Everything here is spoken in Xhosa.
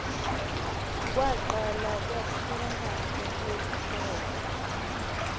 kwaqala kwafuna ukuphela